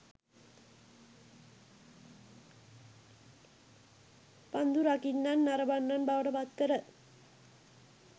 පන්දු රකින්නන් නරඹන්නන් බවට පත්කර